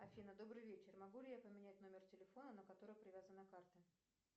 афина добрый вечер могу ли я поменять номер телефона на который привязана карта